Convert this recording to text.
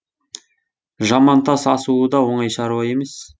жамантас асуы да оңай шаруа емес